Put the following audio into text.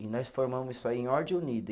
E nós formamos isso aí em ordem unida.